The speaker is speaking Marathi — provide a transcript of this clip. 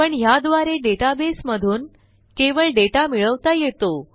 पण ह्याद्वारे डेटाबेसमधून केवळ डेटा मिळवता येतो